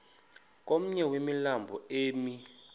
komnye wemilambo emi